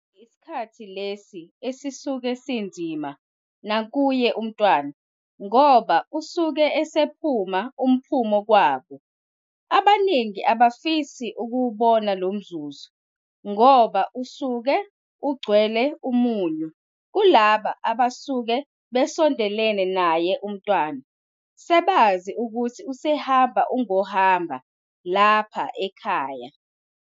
Isikhathi lesi esisuke sinzima nakuye umntwana ngoba usuke esephuma uphumo kwabo. Abaningi abafisi ukuwubona lo mzuzu ngoba usuke ugcwele umunyu kulaba abasuke besondelene naye umntwana sebazi ukuthi usehamba ungohamba lapha ekhaya.